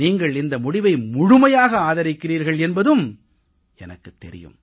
நீங்கள் இந்த முடிவை முழுமையாக ஆதரிக்கிறீர்கள் என்பதும் எனக்குத் தெரியும்